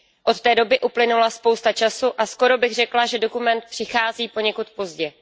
Od té doby uplynula spousta času a skoro bych řekla, že dokument přichází poněkud pozdě.